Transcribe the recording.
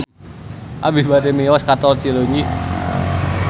Abi bade mios ka Tol Cileunyi